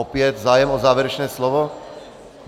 Opět, zájem o závěrečné slovo?